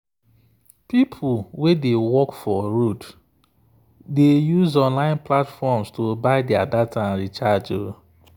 people wey dey work for road dey use online platforms to buy their data and recharge.